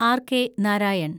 RK. Narayan